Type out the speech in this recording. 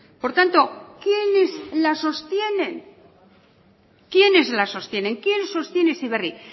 por tanto quiénes la sostienen quiénes la sostienen quién sostiene heziberri